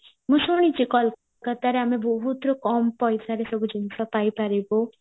ମୁଁ ଶୁଣିଚି କୋଲକାତରେ ଆମେ ବହୁତ କମ ପଇସାରେ ସବୁ ଜିନିଷ ପାଇପାରିବୁ